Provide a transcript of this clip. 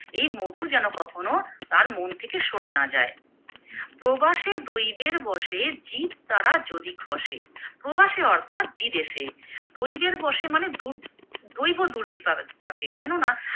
এই মধু যেন কখনো তার মন থেকে সরে না যায়, প্রবাসে দৈবের বশে জীব তারা যদি খসে। প্রবাসে অর্থাৎ বিদেশে দৈবের বশে মানে দু দৈব দুর্বি পা পাকে কেননা